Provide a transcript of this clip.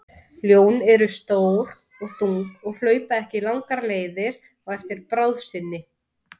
Ljón eru stór og þung og hlaupa ekki langar leiðir á eftir bráð sinni.